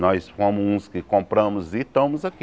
Nós fomos uns que compramos e estamos aqui.